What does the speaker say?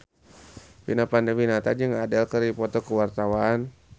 Vina Panduwinata jeung Adele keur dipoto ku wartawan